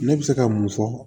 Ne bɛ se ka mun fɔ